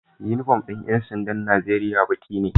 Inufom din yansandan Nigeria Baki ne